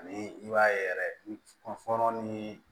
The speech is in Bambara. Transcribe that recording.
Ani i b'a ye yɛrɛ kunfɔlɔ ni